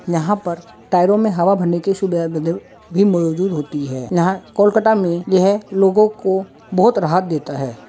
यहां पर टायरों में हवा भरने की सुविधा भी मौजूद होती है यहां कोलकाता में यह लोगों को बहुत राहत देता है।